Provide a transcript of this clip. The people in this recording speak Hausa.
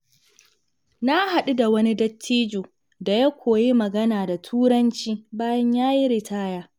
Na haɗu da wani dattijo da ya koyi magana da Turanci bayan ya yi ritaya.